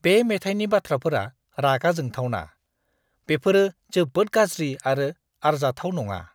बे मेथाइनि बाथ्राफोरा रागा जोंथावना। बेफोरो जोबोद गाज्रि आरो आरजाथाव नङा!